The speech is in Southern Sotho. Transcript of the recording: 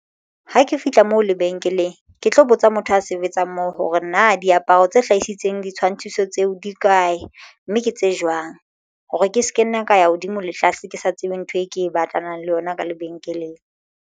Ha ke fihla moo lebenkeleng ke tlo botsa motho a sebetsang moo hore na diaparo tse hlahisitsweng ditshwantshiso tseo di kae, mme ke tse jwang hore ke ska nna ka ya hodimo le tlase ke sa tsebe ntho e ke batlanang le yona ka lebenkeleng.